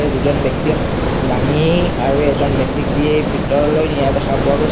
ইয়াত দুজন ব্যক্তিয়ে দাঙি আৰু এজন ব্যক্তিক দি ভিতৰলৈ নিয়া দেখা পোৱা গৈছ--